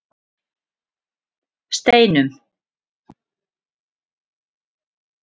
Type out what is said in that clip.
Steinum